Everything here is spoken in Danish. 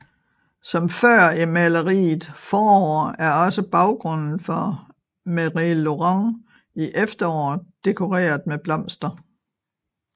Som før i maleriet Forår er også baggrunden for Méry Laurent i Efterår dekoreret med blomster